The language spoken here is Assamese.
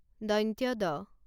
দ